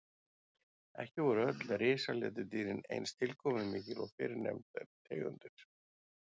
Ekki voru öll risaletidýrin eins tilkomumikil og fyrrnefndar tegundir.